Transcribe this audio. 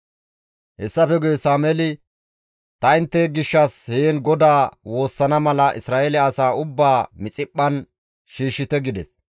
Hessafe guye Sameeli, «Ta intte gishshas heen GODAA woossana mala Isra7eele asaa ubbaa Mixiphphan shiishshite» gides.